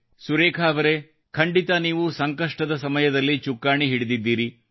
ಸುರೇಖಾ ಅವರೇ ಖಂಡಿತ ನೀವು ಸಂಕಷ್ಟದ ಸಮಯದಲ್ಲಿ ಚುಕ್ಕಾಣಿ ಹಿಡಿದಿದ್ದೀರಿ